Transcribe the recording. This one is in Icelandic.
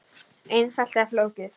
Einfalt eða flókið?